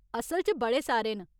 असल च बड़े सारे न।